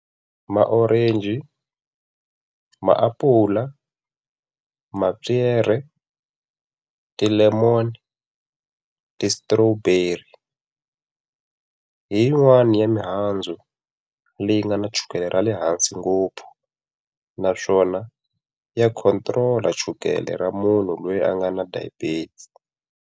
Ma-Orange, maapula, mapyere, ti-lemon, ti-strawberry. Hi yin'wani ya mihandzu leyi nga na chukele ra le hansi ngopfu, naswona ya control-a chukele ra munhu loyi a nga na diabetes.